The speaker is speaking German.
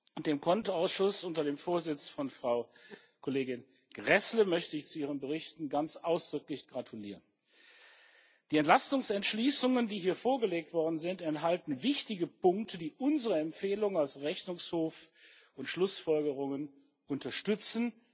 und dem CONT Ausschuss unter dem Vorsitz von Frau Kollegin Gräßle möchte ich zu ihren Berichten ganz ausdrücklich gratulieren. Die Entlastungsentschließungen, die hier vorgelegt worden sind, enthalten wichtige Punkte, die unsere Empfehlungen als Rechnungshof und unsere Schlussfolgerungen unterstützen.